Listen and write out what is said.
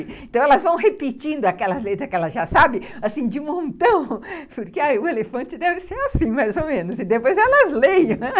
Então, elas vão repetindo aquelas letras que elas já sabem, assim, de montão, porque o elefante deve ser assim, mais ou menos, e depois elas leem, né?